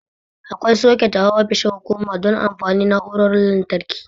Akwai soket a ofishin hukuma don amfanin na'urorin lantarki.